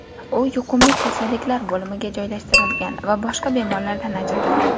U yuqumlik kasalliklar bo‘limiga joylashtirilgan va boshqa bemorlardan ajratilgan.